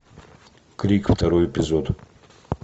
крик второй эпизод